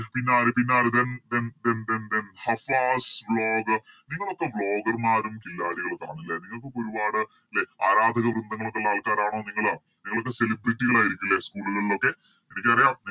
പിന്നാര് പിന്നാര് Then then then then then Hafas Vlog നിങ്ങളൊക്കെ Vloger മാരും കില്ലാഡികളും ഒക്കെയാണ് ലെ നിങ്ങൾക്കൊക്കെ ഒരുപാട് ലെ ആരാധക ബന്ധങ്ങളൊക്കെയുള്ള ആൾക്കരാണോ നിങ്ങള് നിങ്ങളൊക്കെ Celebrity കൾ ആയിരിക്കും ലെ School കളിലൊക്കെ എനിക്കറിയാം